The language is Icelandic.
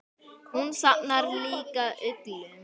Hún safnar líka uglum.